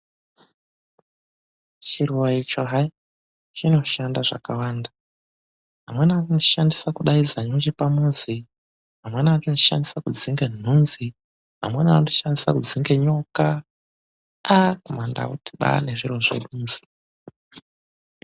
Chiruwa icho hai. Chinoshanda zvakawanda, amweni anochishandisa kudaidza nyuchi pamuzi, amweni anochishandisa kudzinga nhunzi, amweni anochishandisa kudzinga nyoka, aaah mandau timbaari nezviro zvedu